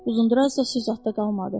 Uzundraz da susuz ata qalmadı.